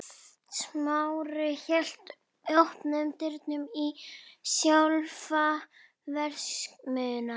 Smári hélt opnum dyrunum inn í sjálfa verksmiðjuna.